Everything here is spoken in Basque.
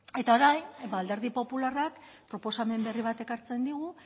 eta orain alderdi popularrak proposamen berri bat ekartzen digu